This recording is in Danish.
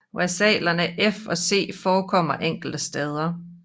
Versalerne F og C forekommer enkelte steder